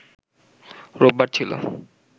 রোববার ছিল